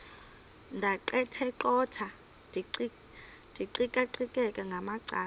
ndaqetheqotha ndiqikaqikeka ngamacala